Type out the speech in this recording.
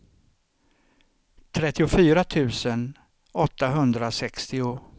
trettiofyra tusen åttahundrasextio